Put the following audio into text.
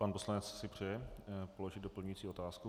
Pan poslanec si přeje položit doplňující otázku.